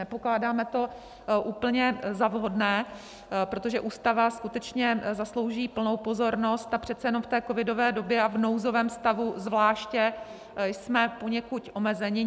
Nepokládáme to úplně za vhodné, protože Ústava skutečně zaslouží plnou pozornost a přece jenom v té covidové době, a v nouzovém stavu zvláště, jsme poněkud omezeni.